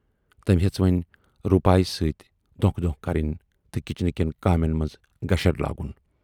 تٔمۍ ہیژ وۅنۍ روٗپایہِ سۭتۍ دونکھٕ دونکھٕ کرٕنۍ تہٕ کِچنہٕ کٮ۪ن کامٮ۪ن منز گشر لاگُن۔